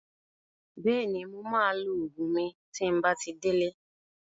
Bẹ́ẹ̀ni, mo maa lo Ògùn mi tí n bá ti dé lé